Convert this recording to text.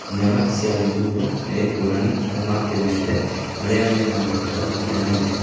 Nyaga cia Limuru ni ngurani na ma Kimende maria mena marĩtwa mahianaine